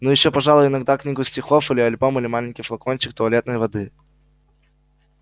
ну ещё пожалуй иногда книгу стихов или альбом или маленький флакончик туалетной воды